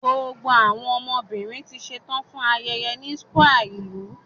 Gbogbo awọn obinrin ti ṣetan fun ayẹyẹ ni square ilu